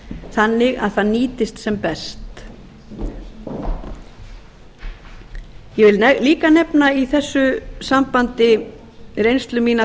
þannig að það nýtist sem best ég vil líka nefna í þessu sambandi reynslu mína af